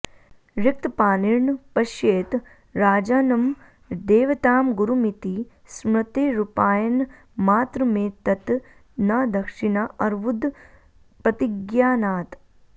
रिक्तपाणिर्न पश्येत राजानं देवतां गुरुमिति स्मृतेरुपायनमात्रमेतत् न दक्षिणा अर्वुदप्रतिज्ञानात्